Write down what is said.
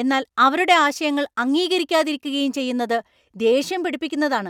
എന്നാൽ അവരുടെ ആശയങ്ങൾ അംഗീകരിക്കാതിരിക്കുകയും ചെയ്യുന്നത് ദേഷ്യം പിടിപ്പിക്കുന്നതാണ് .